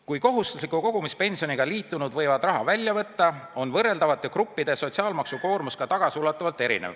Kui kohustusliku kogumispensioniga liitunud võtavad raha välja, on võrreldavate gruppide sotsiaalmaksukoormus tagasiulatuvalt erinev.